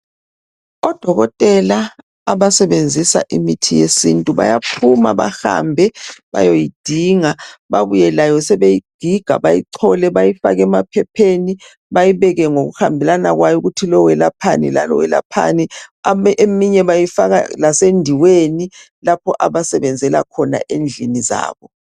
Odokotela basebenzisa imithi yesintu bayaphuma bahambe bayoyidinga babuye layo sebeyigiga bayoyidinga shebebuya layo bayichole bayifake emaphepheni bayibeke ngokuhambelana kwayo ukutho lo welaphani lo welaphani. Eminye bayifaka lasendiweni lapho abasebenzela khona endlini zabo.